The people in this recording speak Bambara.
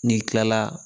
N'i kilala